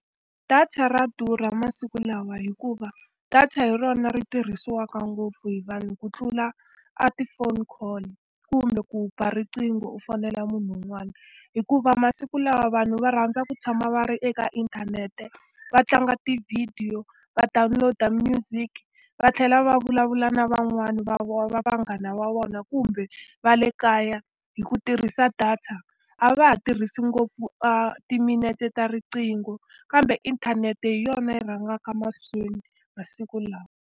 Data ra durha masiku lawa hikuva, data hi rona ri tirhisiwaka ngopfu hi vanhu ku tlula a ti-phone call kumbe ku ba riqingho u fonela munhu un'wana. Hikuva masiku lawa vanhu va rhandza ku tshama va ri eka inthanete, va tlanga tivhidiyo, va download-a music, va tlhela va vulavula na van'wana va va vanghana va vona kumbe va le kaya hi ku tirhisa data. A va ha tirhisi ngopfu a timinete ta riqingho, kambe inthanete hi yona yi rhangaka mahlweni masiku lawa.